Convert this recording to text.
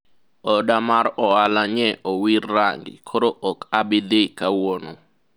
oda mar ohala nye owir range koro ok abidhi kawuono